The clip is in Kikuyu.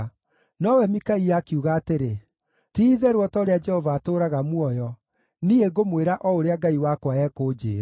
Nowe Mikaia akiuga atĩrĩ, “Ti-itherũ o ta ũrĩa Jehova atũũraga muoyo, niĩ ngũmwĩra o ũrĩa Ngai wakwa ekunjĩĩra.”